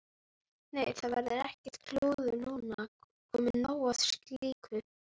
Nei, það verður ekkert klúður núna, komið nóg af slíku.